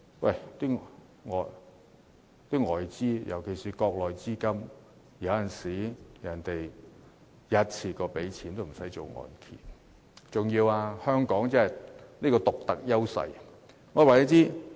然而，外資尤其是國內資金有時候會一次過付清樓價，根本無須承造按揭。